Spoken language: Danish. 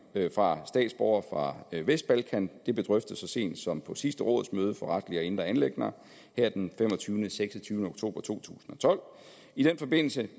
fra statsborgere fra vestbalkan blev drøftet så sent som på sidste rådsmøde for retlige og indre anliggender den femogtyvende seks og tyve oktober to tusind og tolv i den forbindelse